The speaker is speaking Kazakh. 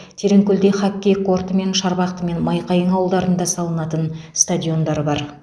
тереңкөлде хоккей корты мен шарбақты мен майқайың ауылдарында салынатын стадиондар бар